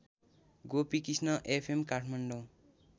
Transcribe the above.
Gopikrishna FM Kathmandu